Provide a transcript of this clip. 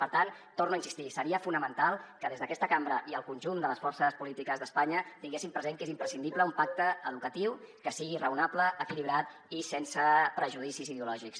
per tant hi torno a insistir seria fonamental que des d’aquesta cambra i el conjunt de les forces polítiques d’espanya tinguessin present que és imprescindible un pacte educatiu que sigui raonable equilibrat i sense prejudicis ideològics